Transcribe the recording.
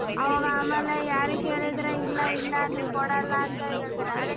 ಅವಾಗ ಆಮೇಲೆ ಯಾರಿಗ್ ಕೇಳಿದ್ರೆ ಇಲ್ಲ ಇಲ್ಲ ನೀವು ಕೂಡಲ್ಲ ಅಂತ ಹೇಳ್ತಾರೆ ಅದಕ್ಕೆ.